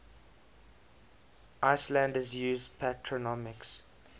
icelanders use patronymics